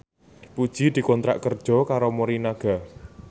Puji dikontrak kerja karo Morinaga